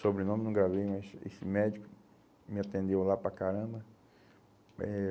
Sobrenome não gravei, mas esse esse médico me atendeu lá para caramba. Eh